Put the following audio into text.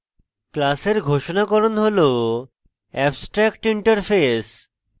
class ঘোষনাকরণ হল abstractinterface